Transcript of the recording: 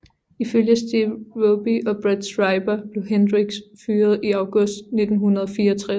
Ifølge Steve Roby og Brad Schreiber blev Hendrix fyret i august 1964